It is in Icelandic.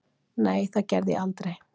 Nei, það gerði ég aldrei.